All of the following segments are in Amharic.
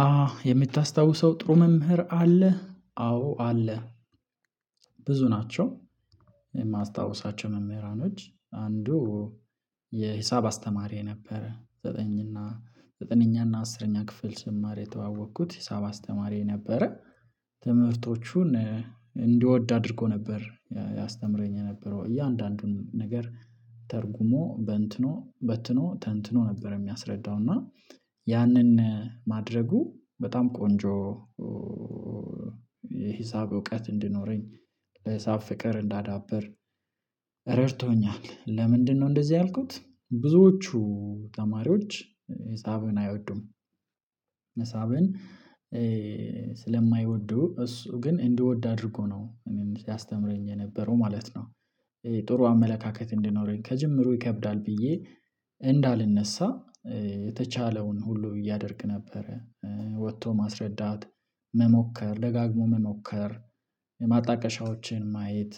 አ የምታስታውሰው ጥሩ መምህር አለ አዎ አለ ናቸው። የማስታውሳቸው መምህራኖች አንዱ የሂሳብ አስተማሪዬ ነበረ ዘጠኝ እና ዘጠነኛ እና አስረኛ ክፍል ስማር የተዋወቅኩት ሂሳብ አስተማሪዬ ነበረ። ትምህርቶቹን እንድወድ አድርጎ ነበር ያስተምረኝ የነበረው እያንዳንዱን ነገር ተርጉሞ በንትኖ በትኖ ተንትኖ ነበር የሚያስረዳው እና ያንን ማድረጉ በጣም ቆንጆ። የሂሳብ እውቀት እንዲኖረኝ ሂሳብ ፍቅር እንዳዳበር ረድቶኛል። ለምንድነው እንደዚህ ያልኩት ብዙዎቹ ተማሪዎች ሂሳብን አይወዱም። ሂሳብን ስለማይወዱ እሱ ግን እንድወድ አድርጎ ነው ያስተምረኝ የነበረው ማለት ነው። ጥሩ አመለካከት እንዲኖረኝ ከጅምሩ ይከብዳል ብዬ እንዳልነሳ የተቻለውን ሁሉ ያደርግ ነበረ ወጥቶ ማስረዳት መሞከር ደጋግሞ መሞከር የማጣቀሻዎችን ማየት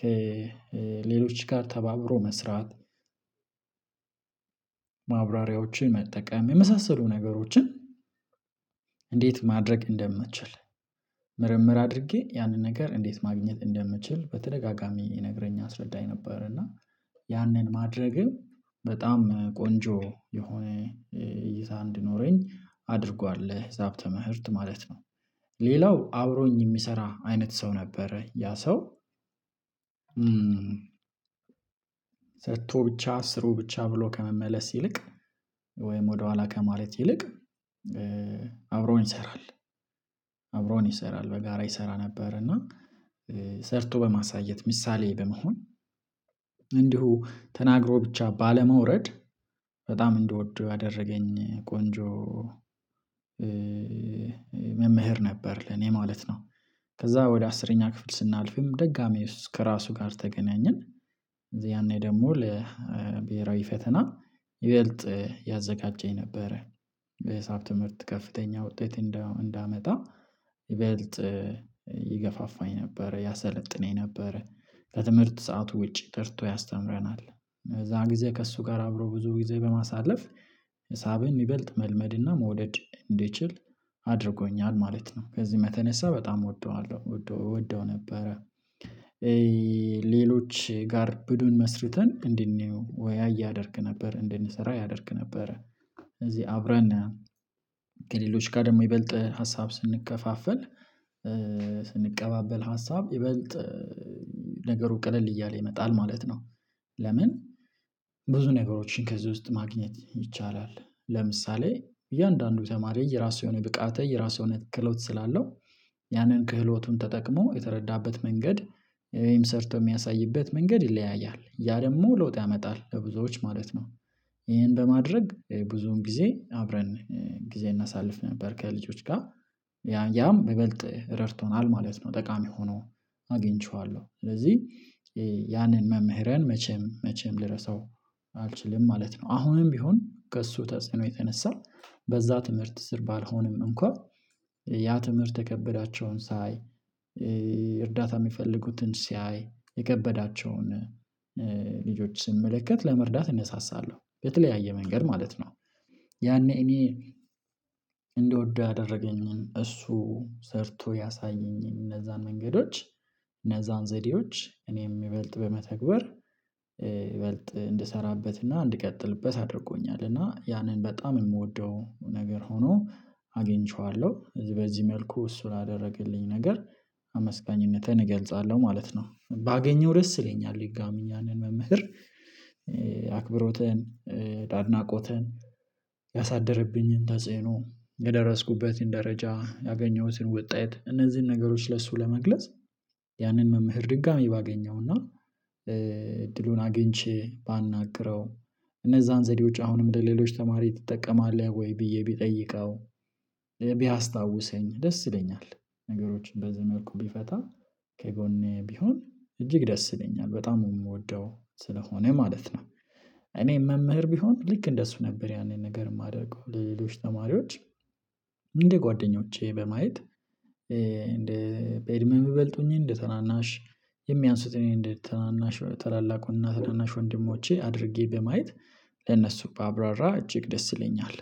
ከሌሎች ጋር ተባብሮ መስራት። ማብራሪያዎችን መጠቀም የመሳሰሉ ነገሮችን እንዴት ማድረግ እንደምችል ምርምር አድርጌ ያንን ነገር እንዴት ማግኘት እንደምችል በተደጋጋሚ ይነግረኝ ያስረዳኝ ነበር። እና ያንን ማድረግም በጣም ቆንጆ የሆነ እይታ እንድኖረኝ አድርጓል ለሂሳብ ትምህርት ማለት ነው። ሌላው አብሮኝ የሚሰራ አይነት ሰው ነበረ ያ ሰው ሰጥቶ ብቻ ስሩ ብቻ ብሎ ከመመለስ ይልቅ ወይም ወደኋላ ከማለት ይልቅ አብሮን ይሰራል አብሮን ይሰራል በጋራ ይሰራ ነበር። እና ሰርቶ በማሳየት ምሳሌ በመሆን እንዲሁ ተናግሮ ብቻ ባለመውረድ በጣም እንደወደው ያደረገኝ ቆንጆ መምህር ነበር ለኔ ማለት ነው። ከዛ ወደ አስረኛ ክፍል ስናልፍም ደጋሜ ውስጥ ከራሱ ጋር ተገናኘን ያኔ ደግሞ ለብሄራዊ ፈተና ይበልጥ ያዘጋጀኝ ነበረ። በሂሳብ ትምህርት ከፍተኛ ውጤት እንዳመጣ ይበልጥ ይገፋፋኝ ነበረ ያሰለጥነኝ ነበረ ከትምህርት ሰዓቱ ውጪ ጠርቶ ያስተምረናል እዛ ጊዜ ከእሱ ጋር አብሮ ብዙ ጊዜ በማሳለፍ ሂሳብን ይበልጥ መልመድና መውደድ እንድችል አድርጎኛል ማለት ነው። ከዚህ የተነሳ በጣም እወደዋለሁ እወደው ነበረ። ሌሎች ጋር ቡድን መስርተን እንድንወያይ ያደርግ ነበር እንድንሰራ ያደርግ ነበር ስለዚህ አብረን ከሌሎች ጋር ደግሞ ይበልጥ ሀሳብ ስንከፋፍል ስንቀባበል ሀሳብ ይበልጥ ነገሩ ቀለል እያለ ይመጣል ማለት ነው። ለምን ብዙ ነገሮችን ከዚህ ውስጥ ማግኘት ይቻላል? ለምሳሌ እያንዳንዱ ተማሪ የራሱ የሆነ ብቃት የራሱ የሆነ ክህሎት ስላለው ያንን ክህሎቱን ተጠቅሞ የተረዳበት መንገድ ወይም ሰርቶ የሚያሳይበት መንገድ ይለያያል ያ ደግሞ ለውጥ ያመጣል ለብዙዎች ማለት ነው። ይሄን በማድረግ ብዙውን ጊዜ አብረን ጊዜ እናሳልፍ ነበር ከልጆች ጋር ያም ይበልጥ ረድቶናል ማለት ነው ጠቃሚ ሆኖ አግኝቼዋለሁ ስለዚህ ያንን መምህሬን መቼም መቼም ልረሳው አልችልም ማለት ነው። አሁንም ቢሆን ከእሱ ተጽዕኖ የተነሳ በዛ ትምህርት ስር ባልሆንም እንኳ ያ ትምህርት የከበዳቸውን ሳይ እርዳታ የሚፈልጉትን ሲያይ የከበዳቸውን ልጆች ስመለከት ለመርዳት እነሳሳለሁ በተለያየ መንገድ ማለት ነው። ያኔ እኔ እንደወደው ያደረገኝን እሱ ሰርቶ ያሳየኝን እነዛን መንገዶች እነዛን ዘዴዎች እኔም ይበልጥ በመተግበር ይበልጥ እንድሰራበትና እንድቀጥልበት አድርጎኛል እና ያንን በጣም የምወደው ነገር ሆኖ አግኝቼዋለሁ በዚህ መልኩ እሱ ላደረግልኝ ነገር አመስጋኝነቴን እገልጻለሁ ማለት ነው። ባገኘው ደስ ይለኛል ድጋሜ ያንን መምህር አክብሮትን አድናቆትን ያሳደረብኝን ተጽዕኖ የደረስኩበትን ደረጃ ያገኘሁትን ወጤት እነዚህን ነገሮች ለሱ ለመግለጽ ያንን መምህር ድጋሜ ባገኘውና እድሉን አግኝቼ ባናግረው እነዛን ዘዴዎች አሁንም ለሌሎች ተማሪ ትጠቀማለህ ወይ ብዬ ብጠይቀው ቢያስታውሰኝ ደስ ይለኛል? ነገሮችን በዚ መልኩ ቢፈታ ከጎኔ ቢሆን እጅግ ደስ ይለኛል በጣም የምወደው ስለሆነ ማለት ነው። እኔ መምህር ቢሆን ልክ እንደሱ ነበር ያንን ነገር የማደርገው ለሌሎች ተማሪዎች እንደ ጓደኞቼ በማየት እንደ በእድሜ የሚበልጡኝ እንደ ተናናሽ የሚያንሱትን እኔ እንደ ታናናሽ ታላላቁን እና ታናናሽ ወንድሞቼ አድርጌ በማየት ለነሱ ባብራራ እጅግ ደስ ይለኛል።